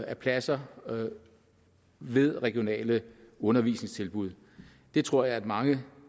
af pladser ved regionale undervisningstilbud det tror jeg at mange